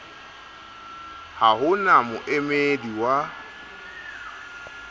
ha ho na moemedi wa